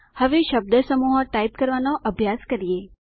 હવે શબ્દસમૂહો ટાઇપ કરવાનો અભ્યાસ કરીએ